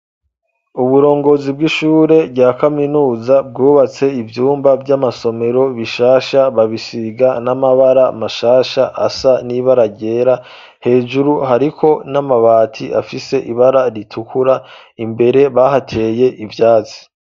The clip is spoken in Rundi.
Uburongozi, bw'ishure rya kaminuza, bwubatse ivyumba vy'amasomero, bishasha, babisiga n'amabara mashasha, asa n'ibara ryera, hejuru hariko n'amabati, afise ibara ritukura; imbere bahateye ivyatsi.